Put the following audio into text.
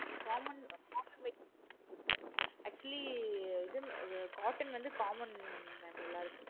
common common material சொல்லுங்க actually இது cotton வந்து common mam எல்லாருக்கும்